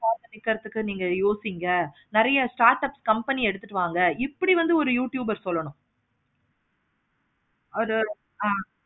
நீங்க யோசிக்கிங்க நெறைய startup company யா எடுத்துட்டு வாங்க இப்படி வந்து ஒரு youtubers சொல்லணும். அவரு ஒரு